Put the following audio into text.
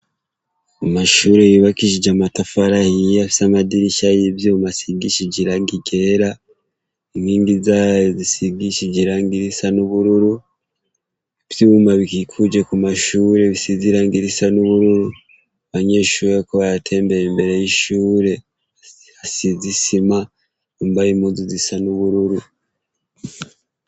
Amashure yibakishije amatafara yiya fyo amadirisha y'ivyomasigishij iragi gera inkingi zayo zisigishije irangirisa n'ubururu ivyoubuma bikikuje ku mashure bisizirangirisa n'ubururu banyeshuwa ko ba yatembeye imbere y'ishure hasizisia ma umbaye imuzu zisa n'ubururu.